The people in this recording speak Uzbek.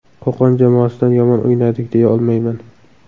Qo‘qon jamoasidan yomon o‘ynadik deya olmayman.